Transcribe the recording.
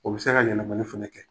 O bi se ka yɛlɛmali fɛnɛ kɛ.